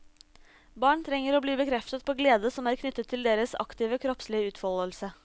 Barn trenger å bli bekreftet på glede som er knyttet til deres aktive kroppslige utfoldelse.